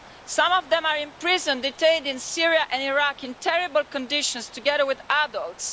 Some of them are in prison, detained in Syria and Iraq in terrible conditions, together with adults.